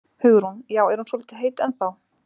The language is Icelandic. Hugrún: Já, er hún svolítið heit ennþá?